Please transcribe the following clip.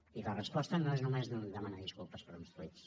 i la resposta no és només demanar disculpes per uns tuits